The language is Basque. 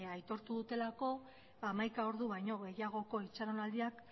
aitortu dutelako hamaika ordu baino gehiagoko itxaronaldiak